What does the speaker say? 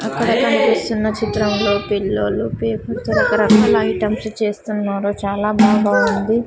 అక్కడ కనిపిస్తున్న చిత్రంలో పిల్లలు పేపర్ తో రకరకాల ఐటమ్స్ చేస్తున్నారు చాలా బాగా ఉంది.